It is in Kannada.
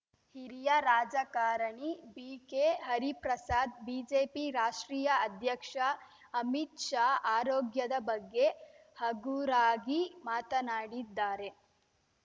ಹಿರಿಯ ರಾಜಕಾರಣಿ ಬಿ ಕೆ ಹರಿಪ್ರಸಾದ್‌ ಬಿಜೆಪಿ ರಾಷ್ಟ್ರೀಯ ಅಧ್ಯಕ್ಷ ಅಮಿತ್‌ ಶಾ ಆರೋಗ್ಯದ ಬಗ್ಗೆ ಹಗುರಾಗಿ ಮಾತನಾಡಿದ್ದಾರೆ